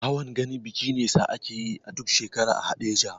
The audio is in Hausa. Hawan gani biki ne sa akeyi duk shekara a haɗeja